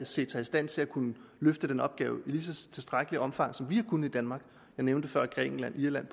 set sig i stand til at kunne løfte den opgave i lige så tilstrækkeligt omfang som vi har kunnet i danmark jeg nævnte før grækenland irland